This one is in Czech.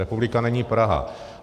Republika není Praha.